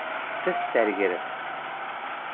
тіс дәрігері